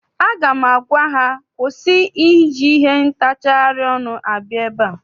Aga m agwa ha kwụsị iji ihe ntacharị ọnụ abịa ebe!